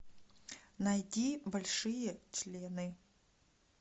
найди большие члены